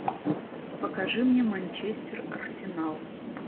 покажи мне манчестер арсенал